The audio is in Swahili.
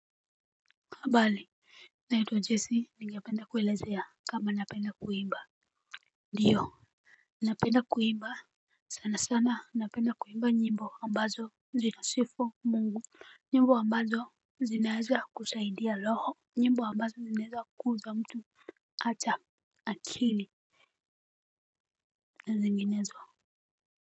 Habari, naitwa Jesse ningapenda kuelezea kama napenda kuimba. Ndio, napenda kuimba sana sana napenda kuimba nyimbo ambazo zinasifu mungu, nyimbo ambazo zinaweza kusaidia roho, nyimbo ambazo zinaweza kukuza mtu hata akili na zinginezo.